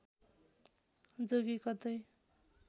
जोगी कतै